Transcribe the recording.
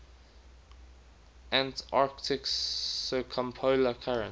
antarctic circumpolar current